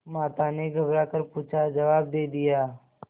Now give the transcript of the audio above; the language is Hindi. माता ने घबरा कर पूछाजवाब दे दिया